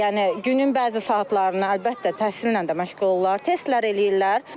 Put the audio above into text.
Yəni günün bəzi saatlarını əlbəttə təhsillə də məşğul olurlar, testlər eləyirlər.